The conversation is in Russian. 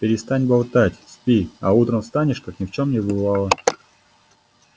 перестань болтать спи а утром встанешь как ни в чём не бывало